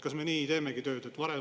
Kas me nii teemegi tööd?